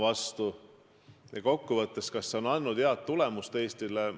Kas see andis Eestile head tulemust?